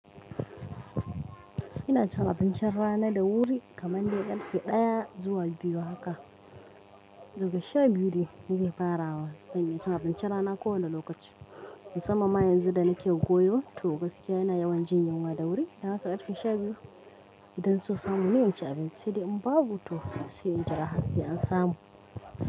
Ina cin abincin rana da wuri kamar dai karfe ɗaya zuwa biyu haka. Daga sha biyu ne nake farawa don in ci abincin rana kowane lokaci. Musamman yanzu da nake goyo to gaskiya yana yawan jin yunwa da wuri. Haka karfe sha biyu idan sun samu ni in ci abinci sai dai in babu to sai in jira har sai an samu.